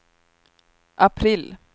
april